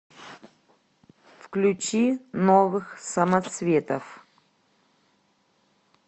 включи новых самоцветов